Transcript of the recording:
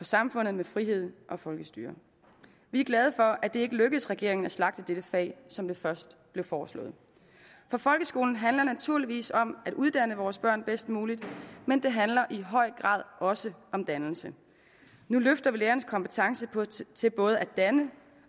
samfund med frihed og folkestyre vi er glade for at det ikke lykkedes regeringen at slagte dette fag som det først blev foreslået for folkeskolen handler naturligvis om at uddanne vores børn bedst muligt men det handler i høj grad også om dannelse nu løfter vi lærerens kompetence til både at danne